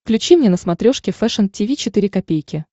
включи мне на смотрешке фэшн ти ви четыре ка